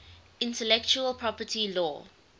intellectual property law